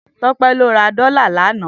Tope lò rà dòlá lànã